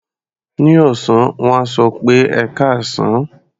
Ní ọ̀sán, wọ́n á sọ pé "ẹkáàsán".